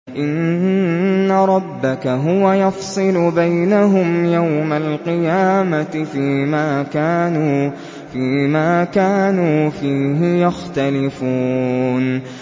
إِنَّ رَبَّكَ هُوَ يَفْصِلُ بَيْنَهُمْ يَوْمَ الْقِيَامَةِ فِيمَا كَانُوا فِيهِ يَخْتَلِفُونَ